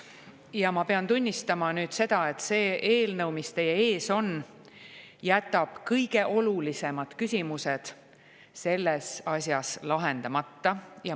Ja ma pean tunnistama, et see eelnõu, mis teie ees on, jätab kõige olulisemad küsimused selles asjas lahendamata.